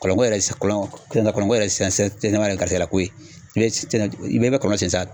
Kɔlɔnkɔ yɛrɛ si kɔlɔn kɔlɔnko yɛrɛ sen sen sisannama ye garijigɛlako ye i se na i be kɔlɔn san